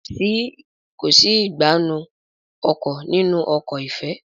Kọ sí Ìgbánú inú ọkọ̀ nínú ọkọ̀ ifẹ